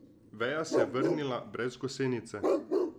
Veja se je vrnila brez gosenice.